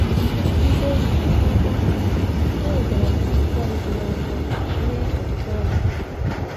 Site n’aka ha, e nwetara m azịza rijuru afọ nye ọtụtụ ajụjụ.